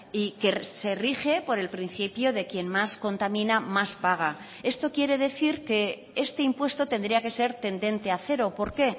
y que se rige por el principio de quien más contamina más paga esto quiere decir que este impuesto tendría que ser tendente a cero por qué